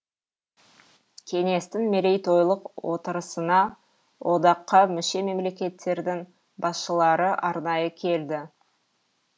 кеңестің мерейтойлық отырысына одаққа мүше мемлекеттердің басшылары арнайы келді